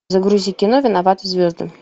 загрузи кино виноваты звезды